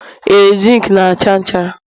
Ee, zinc na-acha nchara